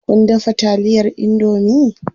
Kun dafa taliyar indomie?